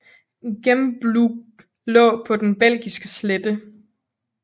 Gembloux lå på den belgiske slette